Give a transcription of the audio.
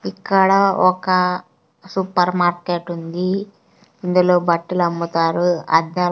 ఇక్కడ ఒక supermarket ఉంది ఇందులో బట్టలు అమ్ముతారు అద్దాలు.